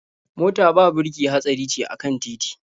Mota ba birki hatsari ce a kan titi.